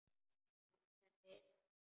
Allt henni að þakka.